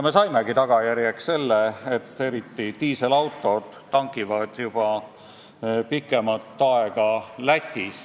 Me saimegi sellise tagajärje, et eriti diiselautod tangivad juba pikemat aega Lätis.